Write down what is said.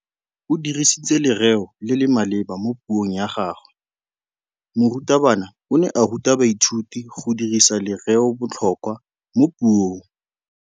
O dirisitse lerêo le le maleba mo puông ya gagwe. Morutabana o ne a ruta baithuti go dirisa lêrêôbotlhôkwa mo puong.